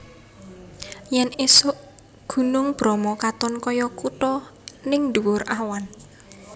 Yen isuk Gunung Bromo katon koyo kuto ning ndhuwur awan